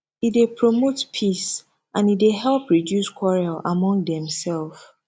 e dey promote peace and e dey help reduce quarrel among demself